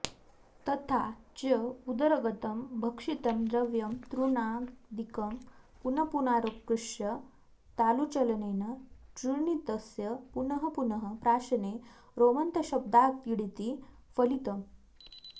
तथा च उदरगतं भक्षितं द्रव्यं तृणादिकं पुनःपुनराकृष्य तालुचलनेन चूर्णितस्य पुनः पुनः प्राशने रोमन्थशब्दात्क्यङिति फलितम्